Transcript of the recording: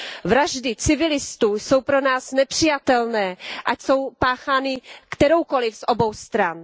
Vraždy civilistů jsou pro nás nepřijatelné, ať jsou páchány kteroukoliv z obou stran.